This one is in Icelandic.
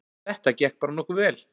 Þetta gekk bara nokkuð vel